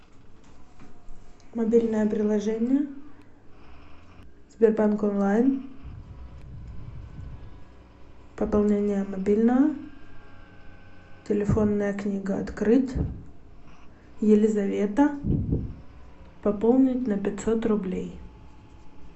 мобильное приложение сбербанк онлайн пополнение мобильного телефонная книга открыть елизавета пополнить на пятьсот рублей